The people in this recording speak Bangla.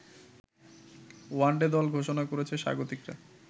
ওয়নডে দল ঘোষণা করেছে স্বাগতিকরা